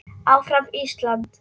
ÁFRAM ÍSLAND!